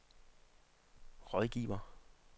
rådgiver